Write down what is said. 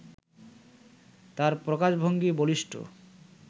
তাঁর প্রকাশভঙ্গি বলিষ্ঠ